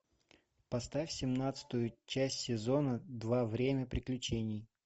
поставь семнадцатую часть сезона два время приключений